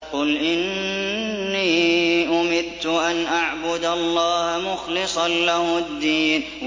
قُلْ إِنِّي أُمِرْتُ أَنْ أَعْبُدَ اللَّهَ مُخْلِصًا لَّهُ الدِّينَ